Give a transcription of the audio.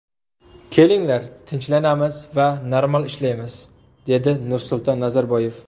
Kelinglar tinchlanamiz va normal ishlaymiz”, dedi Nursulton Nazarboyev.